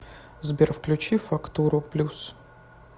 сбер включи фактуру плюс